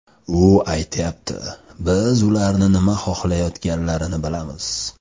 U aytyapti: biz ularning nima xohlayotganlarini bilamiz.